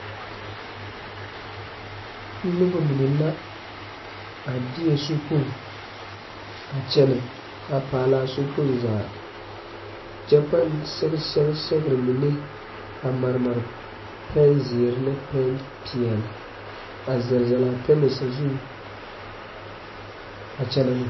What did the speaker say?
Noba mine la a de sokpoŋ a kyɛnɛ a paalaa sokpooŋ zaa kyɛ paŋ sɛge sɛɛgre mine a maremre pɛŋzeerre ne paŋpeeɛli a zɛlzɛl a pɛmɛ sazuŋ a kyɛnɛ ne.